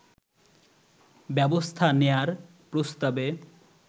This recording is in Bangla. ব্যবস্থা নেয়ার প্রস্তাবে